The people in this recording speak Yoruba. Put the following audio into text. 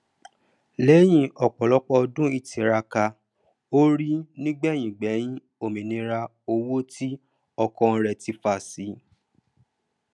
lẹyìn ọpọ ọdún ìtiraka orí nígbẹyìngbẹyín òmìníra owó tí ọkàn rẹ tí fà sí